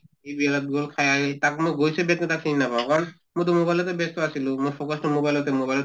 খাই আহি তাত মই গৈছো বিয়াত কিন্তু তাক মই চিনি নাপাওঁ কাৰণ ময়তো mobile তে ব্য়স্ত আছিলোঁ, মোৰ focus টো mobile তে mobile ত